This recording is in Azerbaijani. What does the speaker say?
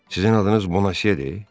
Sizin adınız Bonasiyidir?